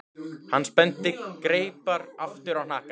Hann spennti greipar aftur á hnakka.